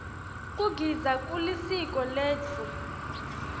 kugidza kulisiko letfu